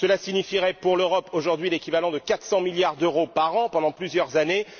Cela signifierait, pour l'Europe, aujourd'hui, l'équivalent de 400 milliards d'euros par an pendant plusieurs années.